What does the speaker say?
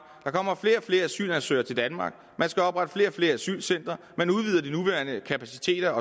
kommer flere og flere asylansøgere til danmark man skal oprette flere og flere asylcentre man udvider de nuværende kapaciteter